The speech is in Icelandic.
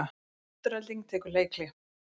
Afturelding tekur leikhlé